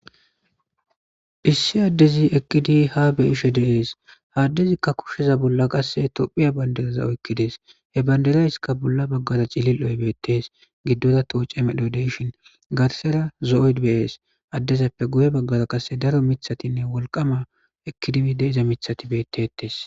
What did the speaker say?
Issi addezi ekkidi ha beyishe deees haddezikka kushsheza bolla qasse tophiya bandereza oykkidees he banderayska bolla baggaza cilil7oy beettes giddoza tooce medodeshin gatsera zo'oyd beyees addezappe guye baggaza qasse daro mithatinne wolqama ekidimi deeza mithati beettetes.